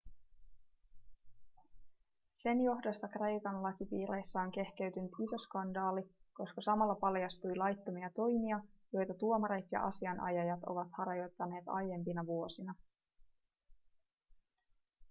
sen johdosta kreikan lakipiireissä on kehkeytynyt iso skandaali koska samalla paljastui laittomia toimia joita tuomarit ja asianajajat ovat harjoittaneet aiempina vuosina